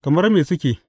Kamar me suke?